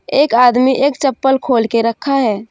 एक आदमी एक चप्पल खोल के रखा है।